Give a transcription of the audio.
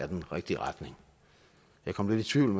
den rigtige retning jeg kom lidt i tvivl